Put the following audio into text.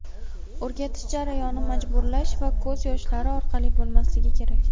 O‘rgatish jarayoni majburlash va ko‘z yoshlari orqali bo‘lmasligi kerak.